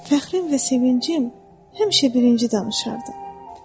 Fəxrim və sevincim həmişə birinci danışardı.